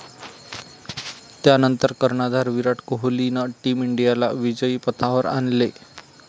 त्यानंतर कर्णधार विराट कोहलीनं टीम इंडियाला विजयी पथावर आणले.